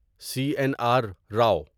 سی N R رو